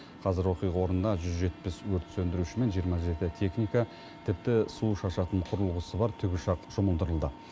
қазір оқиға орнына жүз жетпіс өрт сөндіруші мен жиырма жеті техника тіпті су шашатын құрылғысы бар тікұшақ жұмылдырылды